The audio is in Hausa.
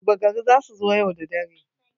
Duba gari za su zo yau da dare.